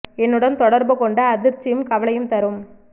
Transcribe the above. என்னுடன் தொடர்புகொண்டு அதிர்ச்சியும் கவலையும் தரும்